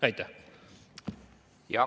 Aitäh!